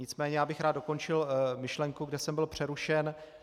Nicméně já bych rád dokončil myšlenku, kde jsem byl přerušen.